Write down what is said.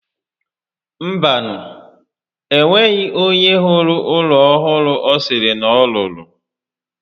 Mba nu, enweghi onye hụrụ ụlọ ọhụrụ ọ sịrị na ọ rụrụ